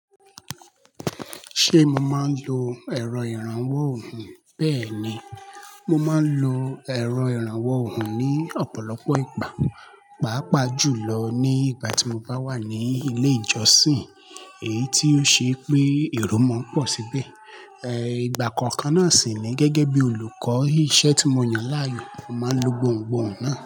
Ṣé mo máa ń lo ẹ̀rọ ìrànwọ́ òhùn? Bẹ́ẹ̀ ni, mo máa ń lo ẹ̀rọ ìrànwọ́ òhùn ní ọ̀pọ̀lọpọ̀ ìgbà, pàápàá jùlọ ní ìgbà tí mo bá wà ní ilé ìjọsìn, èyí tí ó ṣe pé èrò máa ń pọ̀ síbẹ̀. Ẹ̀ ìgbà kọ̀ọ̀kan náà sì ni gẹ́gẹ́ bí olùkọ́, iṣẹ́ tí mo yàn láàyò, mo máa ń lo gbọ̀hungbòhun òhùn náà.